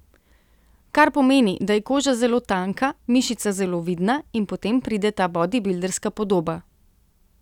Kar pomeni, da je koža zelo tanka, mišica zelo vidna, in potem pride ta bodibilderska podoba.